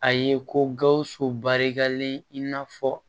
A ye ko gawusu barikalen in n'a fɔ